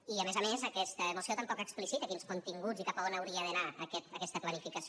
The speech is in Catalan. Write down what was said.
i a més a més aquesta moció tampoc explicita quins continguts i cap on hauria d’anar aquesta planificació